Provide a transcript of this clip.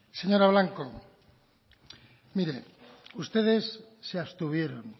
señora blanco mire ustedes se abstuvieron